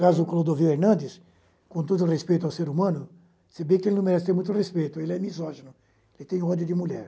Caso Clodovil Hernandes, com todo respeito ao ser humano, se bem que ele não merece ter muito respeito, ele é misógino, ele tem ódio de mulher.